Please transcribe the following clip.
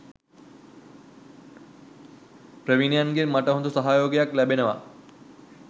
ප්‍රවීණයන්ගෙන් මට හොඳ සහයෝගයක් ලැබෙනවා.